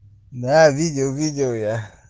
да видел видел я